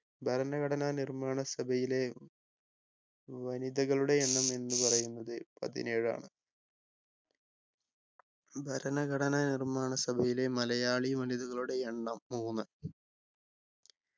ഭരണഘടനാ നിർമ്മാണ സഭയിലെ വനിതകളുടെ എണ്ണം എന്നു പറയുന്നത് പതിനേഴാണ് ഭരണഘടനാ നിർമ്മാണ സഭയിലെ മലയാളി വനിതകളുടെ എണ്ണം മൂന്ന്